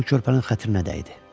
Bu körpənin xətrinə dəydi.